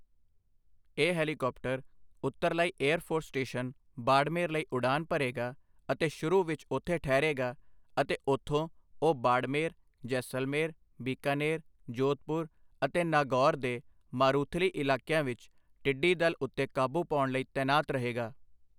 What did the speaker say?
ਇਹ helicopter Uttarlai air force station Barmer ਲਈ ਉਡਾਨ ਭਰੇਗਾ ਅਤੇ ਸ਼ੁਰੂ ਵਿੱਚ ਉੱਥੇ ਠਹਿਰੇਗਾ ਅਤੇ ਉੱਥੋਂ ਉਹ ਬਾੜਮੇਰ, ਜੈਸਲਮੇਰ, ਬੀਕਾਨੇਰ, ਜੋਧਪੁਰ ਅਤੇ ਨਾਗੌਰ ਦੇ ਮਾਰੂਥਲੀ ਇਲਾਕਿਆਂ ਵਿੱਚ ਟਿੱਡੀ ਦਲ ਉੱਤੇ ਕਾਬੂ ਪਾਉਣ ਲਈ ਤੈਨਾਤ ਰਹੇਗਾ।